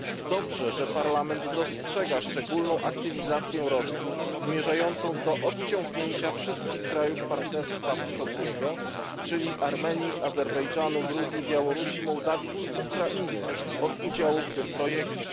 Dobrze, że Parlament dostrzega szczególną aktywizację Rosji, zmierzającą do odciągnięcia wszystkich krajów Partnerstwa Wschodniego, czyli Armenii, Azerbejdżanu, Gruzji, Białorusi, Mołdawii i Ukrainy, od udziału w tym projekcie.